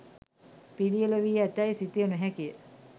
පිළියෙළ වී ඇතැයි සිතිය නොහැකිය.